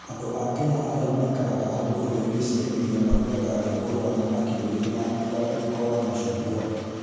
Andũ a Kenya arĩa maikaraga hũgũrũrũ-inĩ cia iria marugaga rwĩmbo rwa thamaki rũrĩ na mũtararĩko wa macungwa.